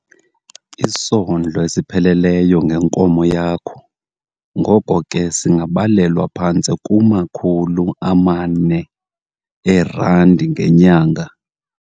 Isondlo esipheleleyo ngenkomo yakho ngoko ke singabalelwa phantse kuma-R400 ngenyanga.